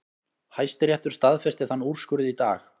Hæstiréttur staðfesti þann úrskurð í dag